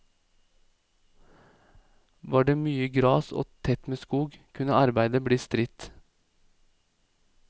Var det mye gras og tett med skog, kunne arbeidet bli stridt.